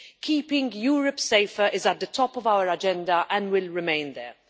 Keeping Europe safer is at the top of our agenda and will remain there.